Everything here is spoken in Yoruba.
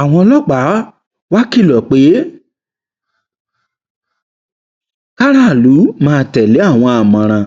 àwọn ọlọpàá wàá kìlọ pé kárààlú máa tẹlé àwọn àmọràn